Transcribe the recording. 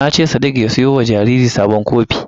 Na ce sadik ya siyo wa jariri sabon kofin.